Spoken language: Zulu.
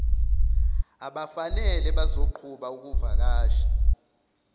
abafanele bazoqhuba ukuvakasha